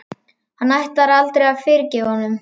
Hann ætlar aldrei að fyrirgefa honum.